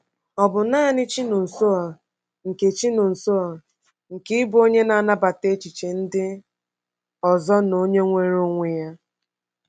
Ọ̀ bụ nanị Chinonsoer nke Chinonsoer nke ịbụ onye na-anabata echiche ndị ọzọ na onye nweere onwe ya?